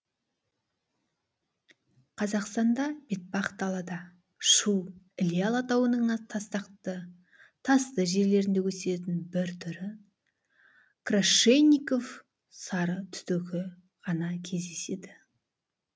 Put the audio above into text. қазақстанда бетпақдалада шу іле алатауының тастақты тасты жерлерінде өсетін бір түрі крашенинников сарытүтігі ғана кездеседі